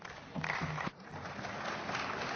Möchte jemand gegen den Antrag sprechen?